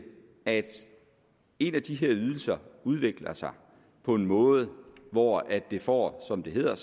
at en af de her ydelser udvikler sig på en måde hvor vi får som det hedder